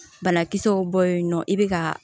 Banakisɛw bɔ yen nɔ i bɛ ka